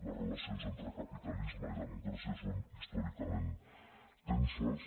les relacions entre capitalisme i democràcia són històricament tenses